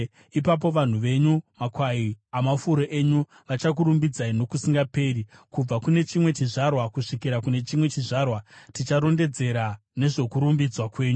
Ipapo vanhu venyu, makwai amafuro enyu, vachakurumbidzai nokusingaperi; kubva kune chimwe chizvarwa kusvikira kune chimwe chizvarwa, ticharondedzera nezvokurumbidzwa kwenyu.